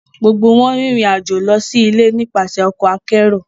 Gbogbo wọn rin irin ajo lọ si ile nipasẹ ọkọ akero